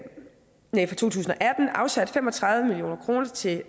afsat fem og tredive million kroner til